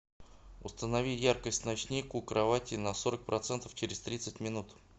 установи яркость ночник у кровати на сорок процентов через тридцать минут